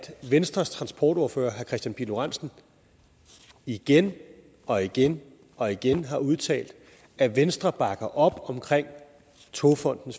venstres transportordfører herre kristian pihl lorentzen igen og igen og igen har udtalt at venstre bakker op om togfonden